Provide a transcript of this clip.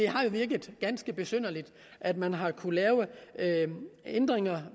har virket ganske besynderligt at man har kunnet lave ændringer